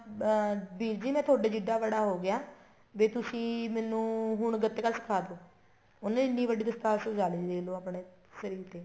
ਅਹ ਵੀਰਜੀ ਮੈਂ ਤੁਹਾਡੇ ਜਿੰਡਾ ਬੜਾ ਹੋ ਗਿਆ ਵੀ ਤੁਸੀਂ ਮੈਨੂੰ ਹੁਣ ਗੱਤਕਾ ਸਿਖਾਦੋ ਉਹਨੇ ਐਨੀਂ ਵੱਡੀ ਦਸਤਾਰ ਸਜਾਲੀ ਦੇਖਲੋ ਆਪਣੇ ਸਿਰ ਤੇ